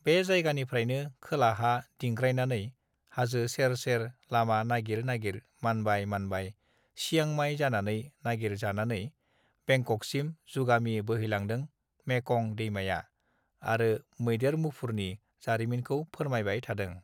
बे जायगानिफ्रायनो खोलाहा दिंग्रायनानै हाजो सेर सेर लामा नागिर नागिर मानबाय मानबाय सियांमाइ जानानै नागिर जानानै बेंककसिम जुगामि बोहैलांदों मेकं दैमाया आरो मैदेर मुफुरनि जारिमिनखौ फोरमायबाय थांदों